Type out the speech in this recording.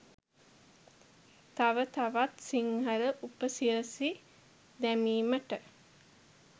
ත‍ව තවත් සිංහල උපසිරැසි දැමීමට